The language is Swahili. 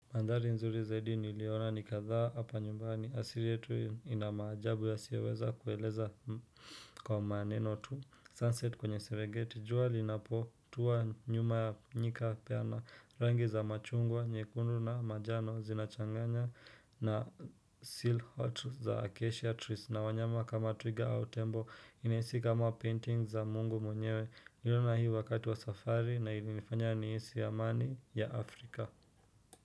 Mandhari nzuri zaidi niliona ni kadhaa hapa nyumbani. Asili yetu hii ina maajabu yasioweza kueleza kwa maneno tu. Sunset kwenye serengeti. Jua linapo tua nyuma ya nyika peana. Rangi za machungwa, nyekundu na majano zinachanganya na seal hot za acacia trees. Na wanyama kama twiga au tembo inahisi kama painting za mungu mwenyewe. Niliona hii wakati wa safari na ilinifanya nihisi ya amani ya Afrika.